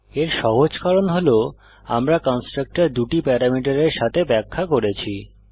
এর সহজ কারণ হল আমরা কন্সট্রাকটর দুটি প্যারামিটারের সাথে ব্যাখ্যা করেছি